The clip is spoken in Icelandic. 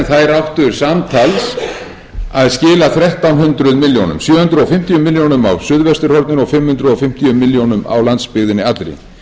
samtals að skila þrettán hundruð milljóna króna sjö hundruð fimmtíu milljónir á suðvesturhorninu og fimm hundruð fimmtíu milljónir á landsbyggðinni allri